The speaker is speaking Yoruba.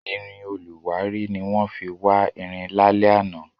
Irin olùwárí ni wọ́n fi wá irin lálẹ́ àná.